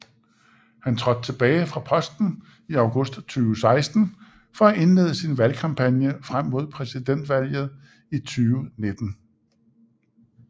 Han trådte tilbage fra posten i august 2016 for at indlede sin valgkampagne frem mod præsidentvalget i 2017